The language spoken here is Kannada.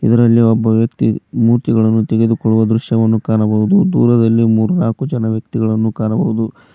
ಇದರಲ್ಲಿ ಒಬ್ಬ ವ್ಯಕ್ತಿ ಮೂರ್ತಿಗಳನ್ನು ತೆಗೆದುಕೊಳ್ಳುವ ದೃಶ್ಯವನ್ನು ಕಾಣಬಹುದು ದೂರದಲ್ಲಿ ಮೂರು ನಾಲ್ಕು ಜನ ವ್ಯಕ್ತಿಗಳನ್ನು ಕಾಣಬಹುದು.